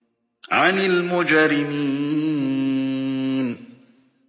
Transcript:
عَنِ الْمُجْرِمِينَ